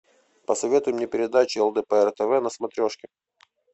посоветуй мне передачу лдпр тв на смотрешке